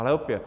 Ale opět.